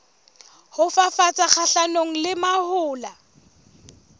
ho fafatsa kgahlanong le mahola